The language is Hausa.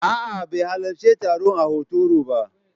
A'a, bai halarci taron a Hotoro ba.